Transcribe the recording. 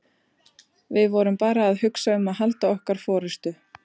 Við vorum bara að hugsa um að halda okkar forystu.